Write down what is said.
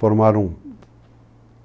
Formaram